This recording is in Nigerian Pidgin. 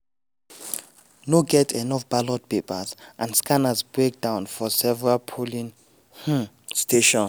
no get enough ballot papers and scanners break down for several polling um stations.